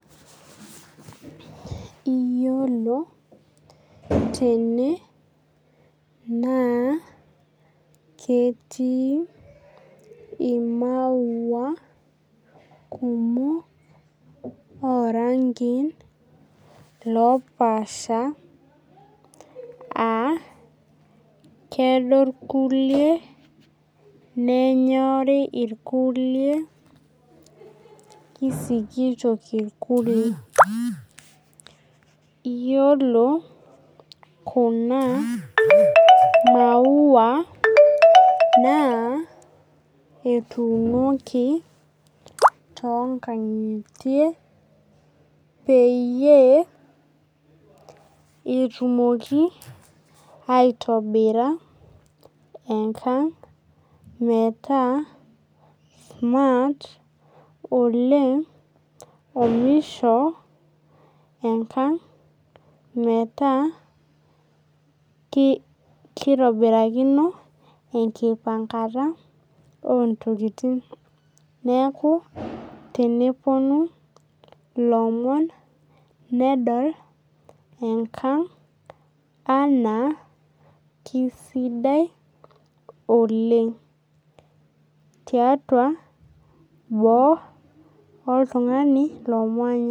Iyiolo tene naa ketii ii maua kumok oo rankin loopasha aa kedo irkulie nenyorii ikulie kisikito irkulie. Iyiolo kuna maua naa etunoki too nkang'itie peyie etumoki aitobira enkang' smart oleng' omisho enkang' meeta kitobirakino enkipangata oo ntokitin neeku tenepuonu ilomon nedol ankang' anaa kisidai oleng' tiatua boo oltung'ani lomonya.